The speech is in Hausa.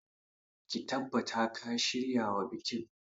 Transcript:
Ka tabbata ka shiryawa bikin.